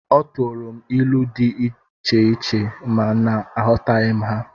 Ọ turu m ilu dị icheiche, ma na aghọtaghi ha